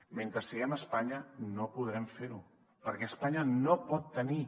mentre siguem a espanya no podrem fer ho perquè espanya no pot tenir